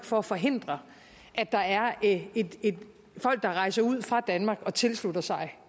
for at forhindre at der er folk der rejser ud fra danmark og tilslutter sig